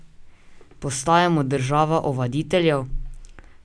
Postajamo država ovaditeljev?